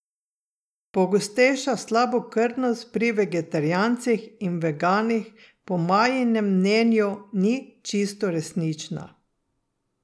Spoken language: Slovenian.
Pogostejša slabokrvnost pri vegetarijancih in veganih po Majinem mnenju ni čisto resnična.